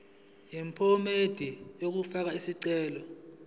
yephomedi yokufaka isicelo